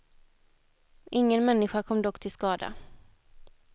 Ingen människa kom dock till skada.